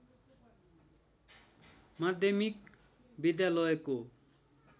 माध्यमिक विद्यालयको